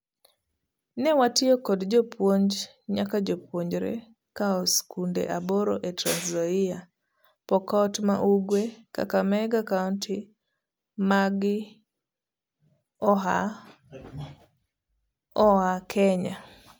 Ne watiyo kod jopuonj nyaka jopuonjre koa sikunde aboro e Trans Nzoia, Pokot ma Ugwe, Kakamega kaonti magi oa Kenya.